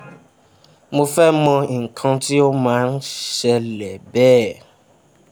mo fe mo nkan ti o ma n sele be